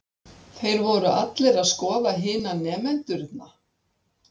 Þeir voru allir að skoða hina nemendurna.